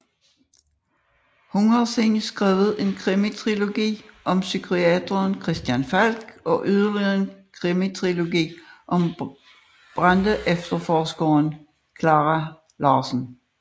Hun har siden skrevet en krimitrilogi om psykiateren Christian Falk og yderligere en krimitrilogi om brandefterforskeren Klara Larsen